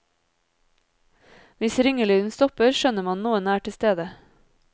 Hvis ringelyden stopper, skjønner man noen er tilstede.